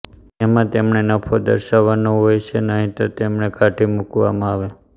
જેમાં તેમણે નફો દર્શાવવાનો હોય છે નહીંતર તેમને કાઢી મૂકવામાં આવે